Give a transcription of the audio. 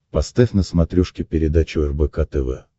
поставь на смотрешке передачу рбк тв